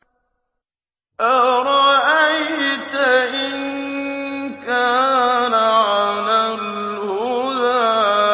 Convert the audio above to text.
أَرَأَيْتَ إِن كَانَ عَلَى الْهُدَىٰ